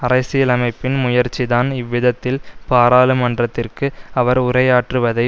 அரசியலமைப்பின் முயற்சிதான் இவ்விதத்தில் பாராளுமன்றத்திற்கு அவர் உரையாற்றுவதை